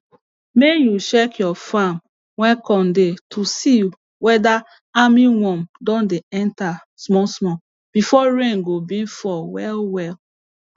may you check your farm wey corn dey to see weda armyworm don dey enter small small before rain go being fall well well